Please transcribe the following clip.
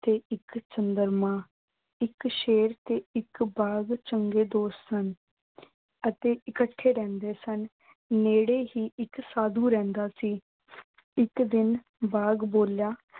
ਤੇ ਇੱਕ ਚੰਦਰਮਾ, ਇੱਕ ਸ਼ੇਰ ਤੇ ਇੱਕ ਬਾਘ, ਚੰਗੇ ਦੋਸਤ ਹਨ ਅਤੇ ਇਕੱਠੇ ਰਹਿੰਦੇ ਸਨ। ਨੇੜੇ ਹੀ ਇੱਕ ਸਾਧੂ ਰਹਿੰਦਾ ਸੀ। ਇੱਕ ਦਿਨ ਬਾਘ ਬੋਲਿਆ